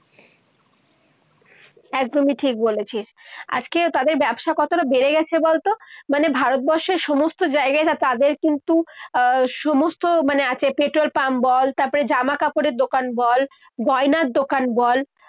একদমই ঠিক বলেছিস। আজকেও তাদের ব্যবসা কতটা বেড়ে গেছে বলতো। মানে ভারতবর্ষের সমস্ত জায়গাতে তাদের কিন্তু আহ সমস্ত মানে আছে, পেট্রল পাম্প বল, জামা কাপড়ের দোকান বল, গয়নার দোকান বল